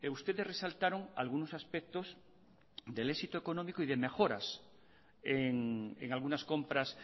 ustedes resaltaron algunos aspectos del éxito económico y de mejoras en algunas compras